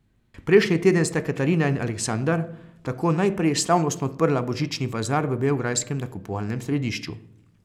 Prejšnji teden sta Katarina in Aleksandar tako najprej slavnostno odprla božični bazar v beograjskem nakupovalnem središču.